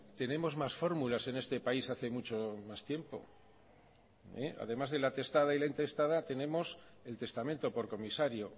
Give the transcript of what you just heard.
tenemos más fórmulas en este país hace mucho más tiempo además de la testada y la intestada tenemos el testamento por comisario